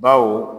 Baw